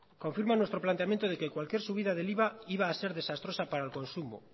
confirman nuestro planteamiento de que cualquier subida del iva iba a ser desastrosa para el consumo